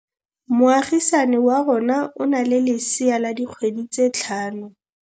Moagisane wa rona o na le lesea la dikgwedi tse tlhano.